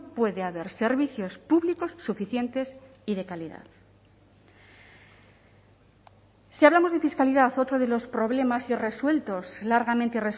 puede haber servicios públicos suficientes y de calidad si hablamos de fiscalidad otro de los problemas irresueltos largamente